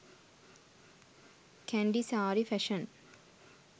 kandy saree fashion